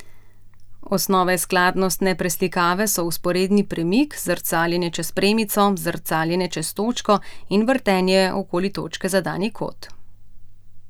Osnovne skladnostne preslikave so vzporedni premik, zrcaljenje čez premico, zrcaljenje čez točko in vrtenje okoli točke za dani kot.